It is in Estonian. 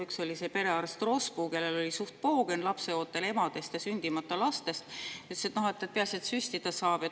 Üks oli see perearst Rospu, kellel oli suht poogen lapseootel emadest ja sündimata lastest ja kes ütles, et peaasi, et süstida saab.